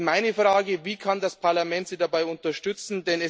Meine Frage ist Wie kann das Parlament Sie dabei unterstützen?